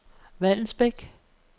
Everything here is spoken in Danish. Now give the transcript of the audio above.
Vallensbæk